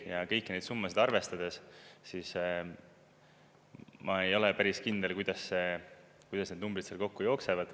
Ja kõiki neid summasid arvestades ma ei ole päris kindel, kuidas need numbrid kokku jooksevad.